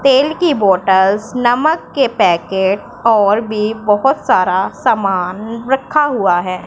तेल की बॉटलस नमक के पैकेट और भी बहोत सारा समान रखा हुआ है।